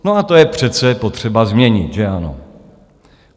No a to je přece potřeba změnit, že ano?